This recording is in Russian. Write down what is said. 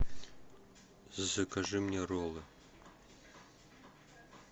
закажи мне роллы